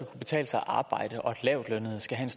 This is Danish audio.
betale sig at arbejde og at lavtlønnede skal have